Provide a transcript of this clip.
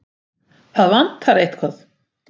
Það vantaði eitthvað.